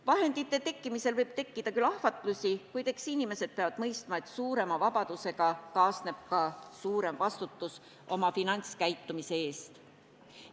Raha tekkimisel võib tekkida küll ahvatlusi, kuid eks inimesed peavad mõistma, et suurema vabadusega kaasneb ka suurem vastutus oma finantskäitumise eest.